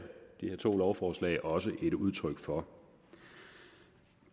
to lovforslag også et udtryk for